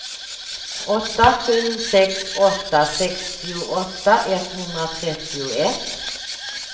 åtta sju sex åtta sextioåtta etthundratrettioett